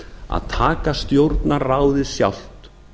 að taka stjórnarráðið sjálft